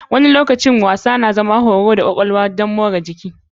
Wani lokaci wasa yana zama horo ga kwakwalwa don motsa jiki.